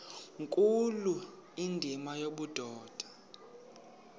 nkulu indima yobudoda